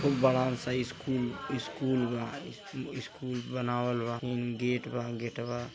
एक बड़ा सा स स्कूल बा स्कूल बनावल बा होम गेट बा गेटवा --